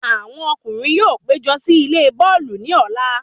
Àwọn ọkùnrin yóò pé jọ sí ilé bọ́ọ̀lù ní Ọ̀la